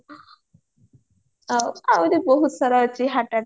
ଆଉ ଆଉରି ବହୁତ ସାରା ଅଛି heart-tack